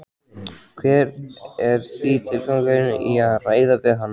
Hver er því tilgangurinn í að ræða við hann?